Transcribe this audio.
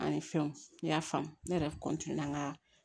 An ye fɛnw ne y'a faamu ne yɛrɛ ka